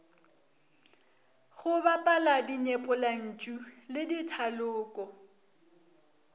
go bapala dinyepollantšu le dithaloko